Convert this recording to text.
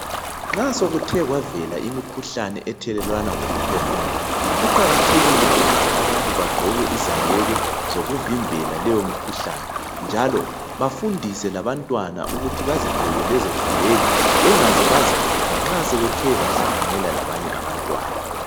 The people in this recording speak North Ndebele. Nxa sokuthe kwavela imikhuhlane ethelelwana ngoku phefumula, kuqakathekile ukuthi abantu bagqoke izaheke zokuvimbela leyo mkhuhlane njalo bafundise labantwana ukuthi bazigqoke lezo zaheka bengaze bazikhipha nxa sebethe bahlanganela labanye abantwana.